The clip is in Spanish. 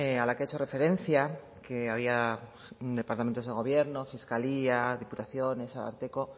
a la que ha hecho referencia que había departamentos de gobierno fiscalía diputaciones ararteko